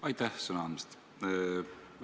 Aitäh sõna andmast!